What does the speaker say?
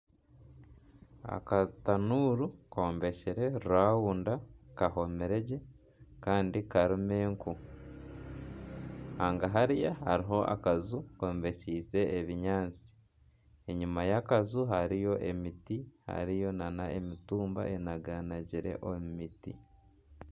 Akatanuuru kombekire raunda kahomire gye kandi karimu enku hagahari hariho akanju kombekyise ebinyaatsi enyima y'akaju hariyo emiti hariyo n'emitumba enaganagire omu miti.